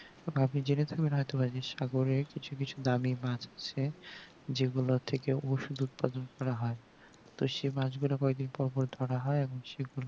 আপনি জেনে থাকবেন হয়তোবা যে সাগরে কিছু কিছু দামি মাছ এ যেগুলো থেকে ওষুধ উৎপাদন করা হয় তো সেই মাছ গুলো কয়েক দিন পর পর ধরা হয় এবং সেগুলো